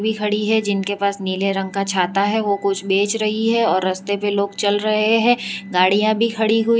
खड़ी है जिनके पास नीले रंग का छाता है वह कुछ बेच रही है और रास्ते पर लोग चल रहे हैं गाड़ियां भी खड़ी हुई--